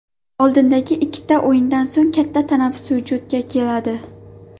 Oldindagi ikkita o‘yindan so‘ng katta tanaffus vujudga keladi.